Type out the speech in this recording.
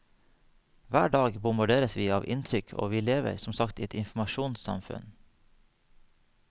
Hver dag bombarderes vi av inntrykk og vi lever som sagt i et informasjonssamfunn.